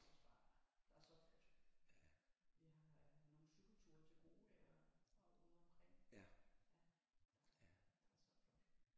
Der er også bare der er så flot jeg har nogle cykelture til gode kan jeg og ude omkring ja der er så flot